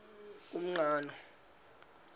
umqhano